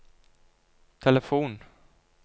telefon